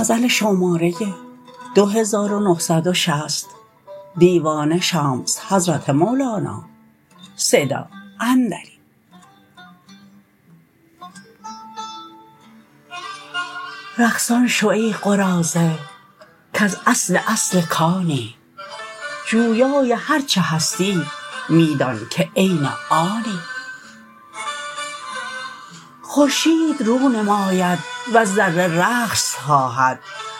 رقصان شو ای قراضه کز اصل اصل کانی جویای هر چه هستی می دانک عین آنی خورشید رو نماید وز ذره رقص خواهد